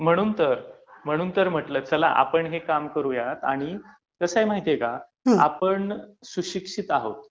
म्हणून तर, म्हणून तर म्हटलं की चला आपण हे काम करूया. आणि कसंय माहितीए का, आपण सुशिक्षित आहोत